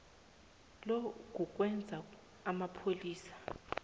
lo kukwenza amapholisa